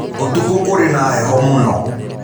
ũtukũ kũrĩ na heho mũno.